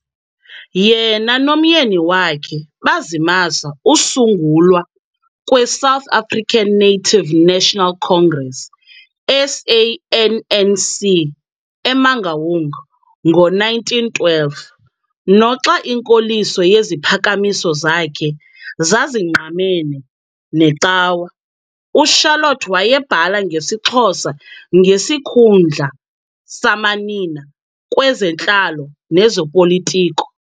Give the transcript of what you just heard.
Yena nomyeni wakhe bazimasa usungulwa kweSouth African Native National Congress, SANNC, eMangaung ngo-1912. Noxa inkoliso yeziphakamiso zakhe zazingqamene necawe, uCharlotte wayebhala ngesiXhosa ngesikhundla samanina kwezentlalo nezopolitko.